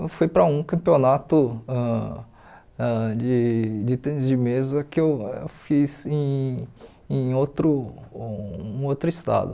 Eu fui para um campeonato ãh ãh de de tênis de mesa que eu fiz em em outro um outro estado.